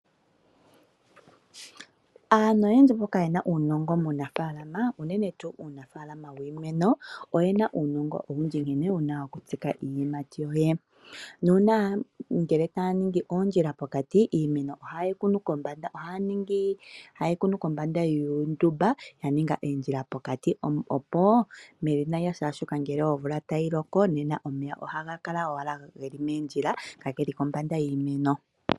Aantu oyendji mboka yena uunongo munafaalama unene tuu uunafalama wiimeno, oyena uunongo nkene yena okutsika iiyimati yawo, nuuna ngele taya ningi oondjila pokati iimeno oha yeyi kunu kombanda yuundumba womavi opo ngele omvula tayi loko omeya otaga kala ashike geli moondjila ka geli kombanda yiimeno.